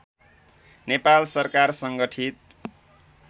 नेपाल सरकार सङ्गठित